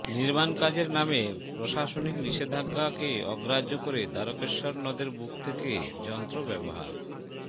নির্মাণকাজের নামে প্রশাসনিক নিষেধাজ্ঞাকে অগ্রাহ্য করে দ্বারকেশ্বর নদের বুক থেকে যন্ত্র ব্যবহার